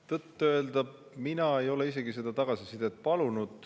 Tõtt-öelda mina ei ole seda tagasisidet palunud.